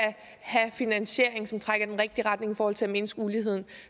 have finansiering som trækker i den rigtige retning i forhold til at mindske uligheden